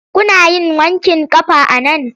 Kuna yin wanƙin ƙafa a nan?